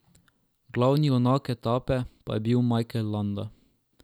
Glavni junak etape pa je bil Mikel Landa.